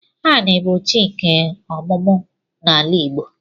Ani bu chi nke omumu n'ala Igbo.